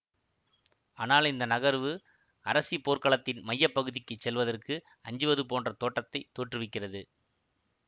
ஆனால் இந்த நகர்வு அரசி போர்க்களத்தின் மைய பகுதிக்கு செல்வதற்கு அஞ்சுவது போன்றத் தோற்றத்தை தோற்றுவிக்கிறது